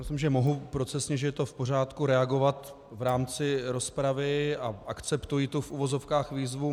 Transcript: Myslím, že mohu procesně, že je to v pořádku, reagovat v rámci rozpravy a akceptuji tu - v uvozovkách - výzvu.